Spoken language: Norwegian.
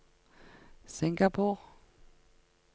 Singapore